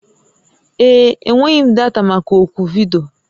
Ee. Enweghị m data maka oku vidiyo